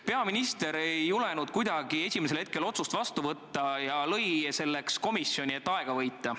Peaminister ei julenud kuidagi esimesel hetkel otsust vastu võtta ja lõi selleks komisjoni, et aega võita.